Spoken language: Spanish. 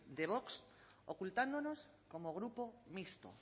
de vox ocultándonos como grupo mixto